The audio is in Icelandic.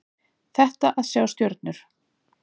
Þetta að sjá stjörnur.